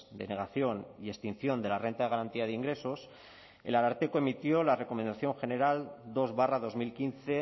denegación y extinción de la renta de garantía de ingresos el ararteko emitió la recomendación general dos barra dos mil quince